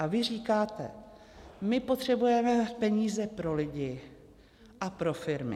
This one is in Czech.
A vy říkáte: my potřebujeme peníze pro lidi a pro firmy.